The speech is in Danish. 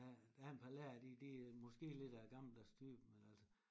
Der der er en par lærere de de er måske lidt af gammeldags støb men altså